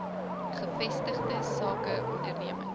gevestigde sake ondernemings